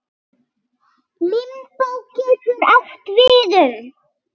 Limbó getur átt við um